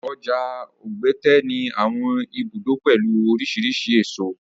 Ọjà Ogbete ní àwọn ibùdó pẹ̀lú oríṣiríṣi èso.